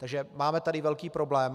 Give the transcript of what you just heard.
Takže máme tady velký problém.